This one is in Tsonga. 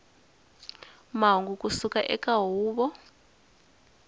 mahungu ku suka eka huvo